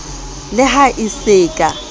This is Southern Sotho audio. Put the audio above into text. le ha e se ka